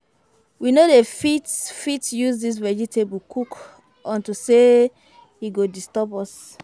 We no dey fit fit use dis vegetable cook unto say e go disturb us